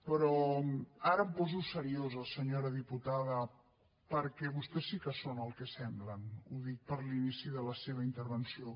però ara em poso seriosa senyora diputada perquè vostès sí que són el que semblen ho dic per l’inici de la seva intervenció